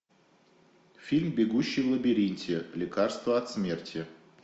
фильм бегущий в лабиринте лекарство от смерти